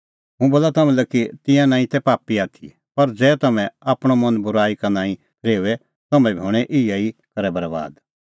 हुंह बोला तम्हां लै कि तिंयां नांईं तै पापी आथी पर ज़ै तम्हैं आपणअ मन बूराई का नांईं फरेओए तम्हैं बी हणैं इहै ई करै बरैबाद